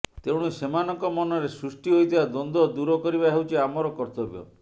ତେଣୁ ସେମାନଙ୍କ ମନରେ ସୃଷ୍ଟି ହୋଇଥିବା ଦ୍ୱନ୍ଦ୍ୱ ଦୂର କରିବା ହେଉଛି ଆମର କର୍ତ୍ତବ୍ୟ